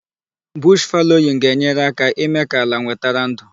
Bush fallowing ga-enyere aka ímé ka ala nwetara ndụ.